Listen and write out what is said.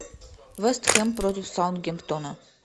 вест хэм против саутгемптона